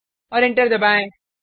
और एंटर दबाएँ